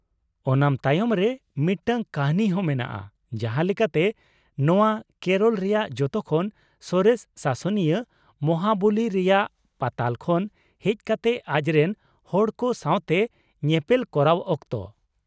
ᱳᱱᱟᱢ ᱛᱟᱭᱚᱢ ᱨᱮ ᱢᱤᱫᱴᱟᱝ ᱠᱟᱹᱦᱱᱤ ᱦᱚᱸ ᱢᱮᱱᱟᱜᱼᱟ, ᱡᱟᱦᱟᱸ ᱞᱮᱠᱟᱛᱮ, ᱱᱚᱶᱟ ᱠᱮᱨᱚᱞ ᱨᱮᱭᱟᱜ ᱡᱚᱛᱚ ᱠᱷᱚᱱ ᱥᱚᱨᱮᱥ ᱥᱟᱥᱚᱱᱤᱭᱟᱹ ᱢᱚᱦᱟᱵᱚᱞᱤ ᱨᱮᱭᱟᱜ ᱯᱟᱛᱟᱞ ᱠᱷᱚᱱ ᱦᱮᱡ ᱠᱟᱛᱮ ᱟᱡᱨᱮᱱ ᱦᱚᱲᱠᱚ ᱥᱟᱶᱛᱮ ᱧᱮᱯᱮᱞ ᱠᱚᱨᱟᱣ ᱚᱠᱛᱚ ᱾